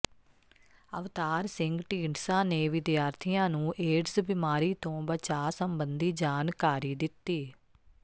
ਅਵਤਾਰ ਸਿੰਘ ਢੀਂਡਸਾ ਨੇ ਵਿਦਿਆਰਥੀਆਂ ਨੂੰ ਏਡਜ਼ ਬਿਮਾਰੀ ਤੋਂ ਬਚਾਅ ਸਬੰਧੀ ਜਾਣਕਾਰੀ ਦਿੱਤੀ